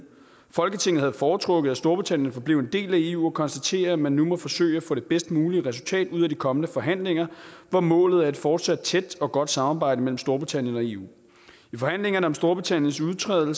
folketinget havde foretrukket at storbritannien forblev en del af eu og konstaterer at man nu må forsøge at få det bedst mulige resultat ud af de kommende forhandlinger hvor målet er et fortsat tæt og godt samarbejde mellem storbritannien og eu i forhandlingerne om storbritanniens udtræden